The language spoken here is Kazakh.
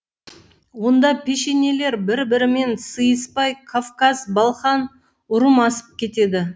онда пешенелер бір бірімен сыйыспай кавказ балқан ұрым асып кетеді